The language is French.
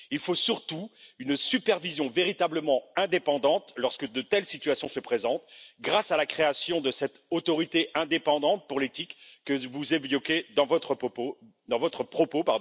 Il faut surtout une supervision véritablement indépendante lorsque de telles situations se présentent, grâce à la création de cette autorité indépendante pour l'éthique que vous évoquiez dans votre propos.